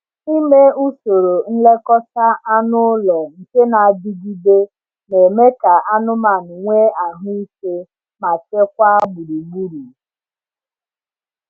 Ime usoro nlekọta anụ ụlọ nke na-adigide na-eme ka anụmanụ nwee ahụ ike ma chekwaa gburugburu.